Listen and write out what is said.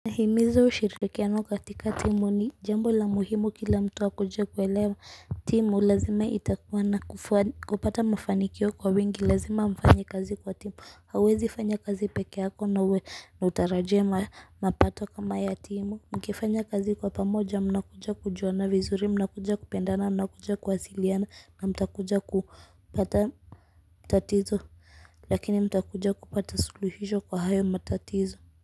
Nahimiza ushirikiano katika timu, ni jambo muhimu kila mtu akijaribu kuelewa. Timu lazima itakuwa na kupata mafanikio kwa wengi lazima mfanye kazi kwa timu, hauwezi kufanya kazi peke yake na uwe na utaratibu wa mapato kama ya timu. Mkifanya kazi kwa pamoja mnakuja kujuana vizuri, mnakuja kupendana, mnakuja kuwasiliana na mtakuja kupata matatizo. Lakini mtakuja kupata suluhisho kwa hayo matatizo.